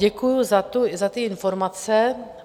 Děkuji za ty informace.